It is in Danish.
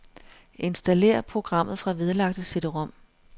Installér programmet fra vedlagte cd-rom.